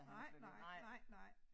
Nej nej nej nej